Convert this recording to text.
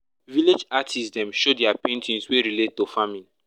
village artists dem show dia paintings wey relate to farming